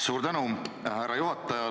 Suur tänu, härra juhataja!